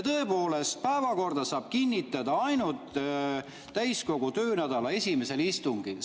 Tõepoolest, päevakorda saab kinnitada ainult täiskogu töönädala esimesel istungil.